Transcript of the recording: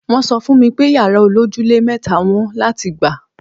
Wọ́n sọ fún mi pé yàrá olójúlé mẹ́ta wọ́n láti gbà.